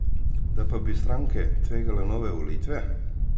Da pa bi stranke tvegale nove volitve?